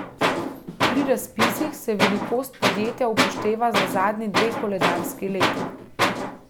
Pri razpisih se velikost podjetja upošteva za zadnji dve koledarski leti.